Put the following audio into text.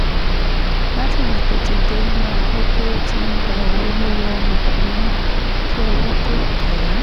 látìgbà tó ti dé la gbọ́ pé ó ti ń gba owó lọ́wọ́ ọmọbìnrin náà kí owó tóó tẹ̀ ẹ́